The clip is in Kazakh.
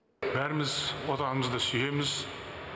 бәріміз отанымызды сүйеміз